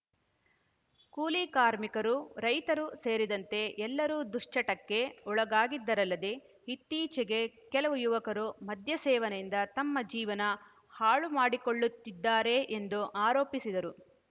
ಕೂಲಿ ಕಾರ್ಮಿಕರು ರೈತರು ಸೇರಿದಂತೆ ಎಲ್ಲರೂ ದುಶ್ಚಟಕ್ಕೆ ಒಳಗಾಗಿದ್ದಾರಲ್ಲದೇ ಇತ್ತೀಚೆಗೆ ಕೆಲವು ಯುವಕರು ಮದ್ಯಸೇವನೆಯಿಂದ ತಮ್ಮ ಜೀವನ ಹಾಳುಮಾಡಿಕೊಳ್ಳುತ್ತಿದ್ದಾರೆ ಎಂದು ಆರೋಪಿಸಿದರು